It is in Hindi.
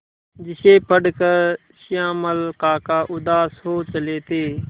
जिसे पढ़कर श्यामल काका उदास हो चले थे